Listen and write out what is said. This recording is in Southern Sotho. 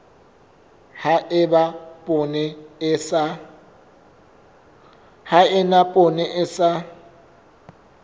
ha eba poone e sa